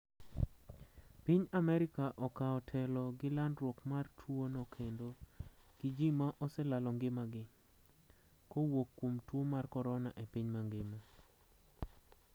Piny Amerika okaw telo gi landruok mar tuo no kendo gi ji ma oselalo ngimagi. kowuok kuom tuwo mar Corona e piny mangima